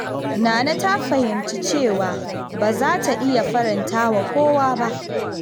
Nana ta fahimci cewa ba za ta iya faranta wa kowa ba.